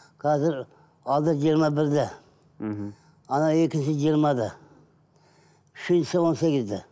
қазір алды жиырма бірде мхм екіншісі жиырмада үшіншісі он сегізде